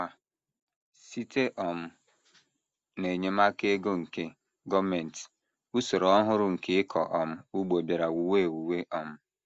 Ma, site um n’enyemaka ego nke gọọmenti, usoro ọhụrụ nke ịkọ um ugbo bịara wuwe ewuwe um.